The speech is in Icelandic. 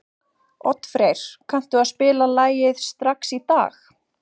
Oddfreyr, kanntu að spila lagið „Strax í dag“?